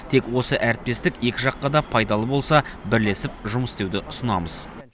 тек осы әріптестік екі жаққа да пайдалы болса бірлесіп жұмыс істеуді ұсынамыз